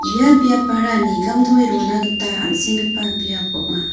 ia biapara nigamtoe rona gita an·senggipa biap ong·a.